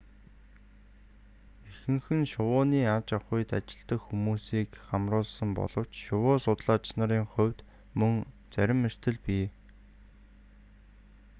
ихэнх нь шувууны аж ахуйд ажилладаг хүмүүсийг хамруулсан боловч шувуу судлаач нарын хувьд мөн зарим эрсдэл бий